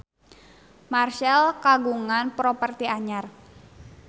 Marchell kagungan properti anyar